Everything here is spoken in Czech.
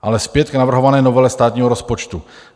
Ale zpět k navrhované novele státního rozpočtu.